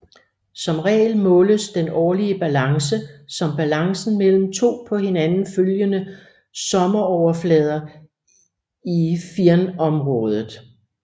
Som regel måles den årlige balance som balancen mellem to på hinanden følgende sommeroverflader i firnområdet